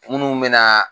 Munnu be na